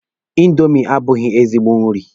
Indomi abụghị ezigbo nri.